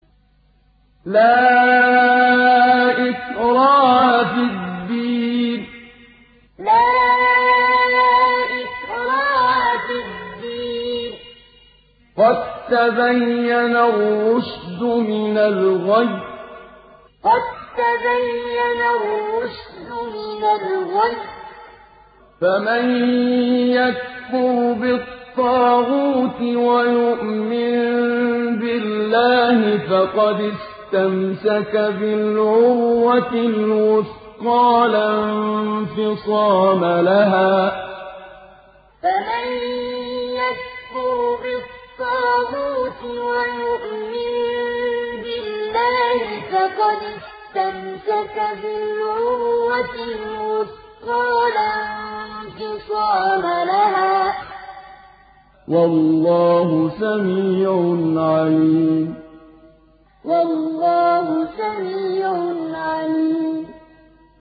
لَا إِكْرَاهَ فِي الدِّينِ ۖ قَد تَّبَيَّنَ الرُّشْدُ مِنَ الْغَيِّ ۚ فَمَن يَكْفُرْ بِالطَّاغُوتِ وَيُؤْمِن بِاللَّهِ فَقَدِ اسْتَمْسَكَ بِالْعُرْوَةِ الْوُثْقَىٰ لَا انفِصَامَ لَهَا ۗ وَاللَّهُ سَمِيعٌ عَلِيمٌ لَا إِكْرَاهَ فِي الدِّينِ ۖ قَد تَّبَيَّنَ الرُّشْدُ مِنَ الْغَيِّ ۚ فَمَن يَكْفُرْ بِالطَّاغُوتِ وَيُؤْمِن بِاللَّهِ فَقَدِ اسْتَمْسَكَ بِالْعُرْوَةِ الْوُثْقَىٰ لَا انفِصَامَ لَهَا ۗ وَاللَّهُ سَمِيعٌ عَلِيمٌ